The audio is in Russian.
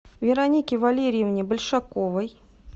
веронике валерьевне большаковой